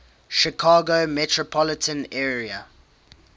chicago metropolitan area